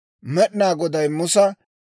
Med'inaa Goday Musa,